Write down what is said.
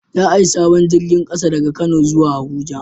Za a yi sabon jirgin ƙasa daga kano zuwa Abuja